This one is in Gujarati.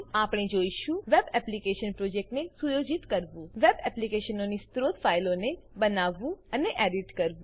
આપણે જોઈશું web application project web application પ્રોજેક્ટને સુયોજિત કરવું વેબ એપ્લીકેશનોની સ્ત્રોત ફાઈલોને બનાવવું અને એડીટ કરવું